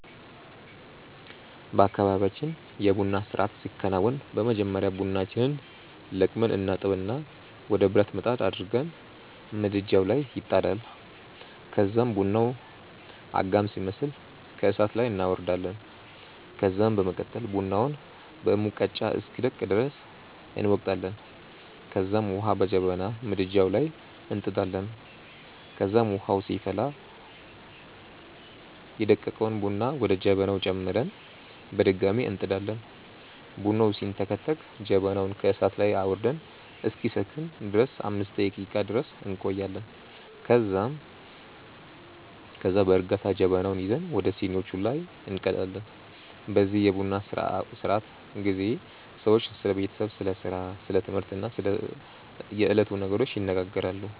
በአካባብያችን የ ቡና ስርአት ሲከናወን በመጀመሪያ ቡናችንን ለቅመን እናጥብና ወደ ብረት ምጣድ አድርገን ምድጃዉ ላይ ይጣዳል ከዛም ቡናዉ አጋም ሲመስል ከእሳት ላይ እናወርዳለን ከዛም በመቀጠል ቡናውን በሙቀጫ እስኪደቅ ድረስ እንወቅጣለንከዛም ዉሀ በጀበና ምድጃዉ ላይ እንጥዳለን ከዛም ዉሀዉ ሲፈላ ደቀቀዉን ቡና ወደ ጀበናዉ ጨምረን በድጋሚ እንጥዳለን። ቡናዉ ሲንተከተክ ጀበናዉን ከእሳት ላይ አዉርደን እስኪሰክን ድረስ 5 ደቄቃ ድረስ እንቆያለን ከዛም ከዛ በእርጋታ ጀበናዉን ይዘን ወደ ሲኒዋቹ ላይ እንቀዳለን። በዚህ የቡና ስነስርዓት ጊዜ ሰዎች ስለ ቤተሰብ፣ ስለ ስራ፣ ስለ ትምህርት እና ስለ የዕለቱ ነገሮች ይነጋገራሉ።